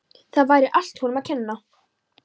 Það væri allt honum að kenna.